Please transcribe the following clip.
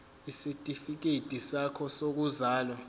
isitifikedi sakho sokuzalwa